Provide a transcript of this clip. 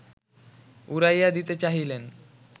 উড়াইয়া দিতে চাহিলেন